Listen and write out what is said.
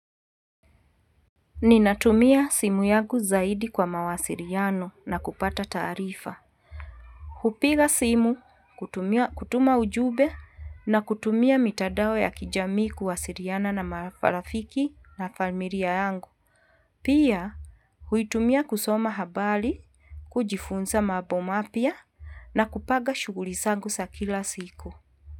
Ninatumia simu yangu zaidi kwa mawasiriano na kupata taarifa. Kupiga simu, kutuma ujube na kutumia mitadao ya kijami kuwasiriana na mafarafiki na famiria yangu. Pia, huitumia kusoma habali, kujifunza mambo mapya na kupaga shuguli zangu za kila siku.